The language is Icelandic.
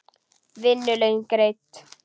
Vinnu laun greidd.